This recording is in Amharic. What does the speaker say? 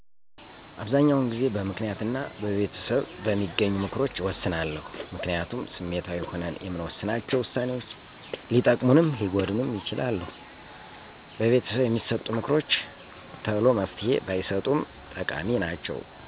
አበሰዛኛዉን ጊዜበምክንያት እና በቤተሰብበሚገኙምክሮች እወስናለሁ። ምክንያቱም ስሜታዊ ሁነን የምንወሥናቸ ውሳኔዎች ሊጠቅሙንም ሊጎዱንም ይችላሉ። በቤተሰብ የሚሠጡ ምክሮችተሎመፍትሄ ባይሠጡም ጠቃሚ ናቸዉ።